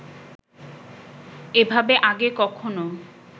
এভাবে আগে কখনও